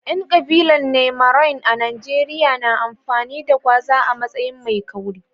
Yan kabilar nyamarai a Najeriya na amfani da gwaza a matsayin mai kauri.